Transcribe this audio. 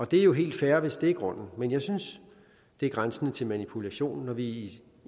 det er jo helt fair hvis det er grunden men jeg synes det er grænsende til manipulation når vi